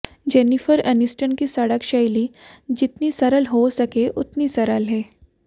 Jennifer Aniston की सड़क शैली जितनी सरल हो सके उतनी सरल है